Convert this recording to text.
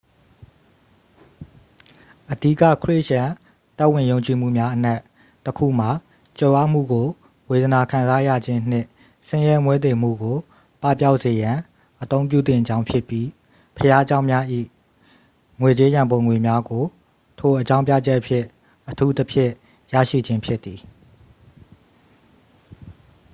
အဓိက ခရစ်ယာန်သက်ဝင်ယုံကြည်မှုများအနက် တစ် ခုမှာ ကြွယ်ဝမှုကို ဝေဒနာခံစားရခြင်းနှင့် ဆင်းရဲမွဲတေမှုကို ပပျောက်စေရန် အသုံးပြုသင့်ကြောင်းဖြစ်ပြီး ဘုရားကျောင်း၏ ငွေကြေးရန်ပုံငွေများကို ထိုအကြောင်းပြချက်ဖြင့် အထူးသဖြင့် ရရှိခြင်းဖြစ်သည်